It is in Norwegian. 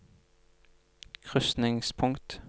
krysningspunkt